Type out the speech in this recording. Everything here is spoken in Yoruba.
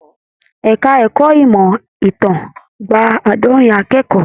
Ẹka ẹ̀kọ́ ìmọ ìtàn gbà aadọrin akẹ́kọ̀ọ́.